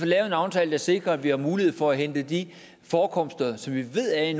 lavet en aftale der sikrer at vi har mulighed for at hente de forekomster som vi ved er i